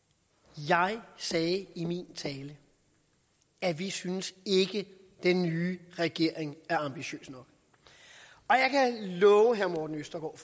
jeg sagde i min tale at vi synes ikke at den nye regering er ambitiøs nok og jeg kan love herre morten østergaard